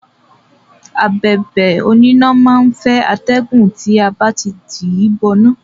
Abẹ̀bẹ̀ oníná má á ń fẹ́ atẹ́gùn tí a bá ti tìí bọ iná.